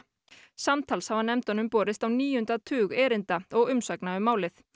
samtals hafa nefndunum borist á níunda tug erinda og umsagna um málið